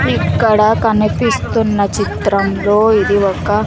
ఇక్కడ కనిపిస్తున్న చిత్రంలో ఇది ఒక--